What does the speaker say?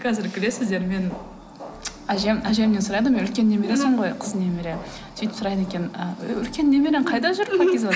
қазір күлесіздер мен әжемнен сұрайды үлкен немересімін ғой қыз немере сөйтіп сұрайды екен ы үлкен немерең қайда жүр пакизат